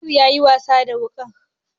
Noor ya yi wasa da wuƙar.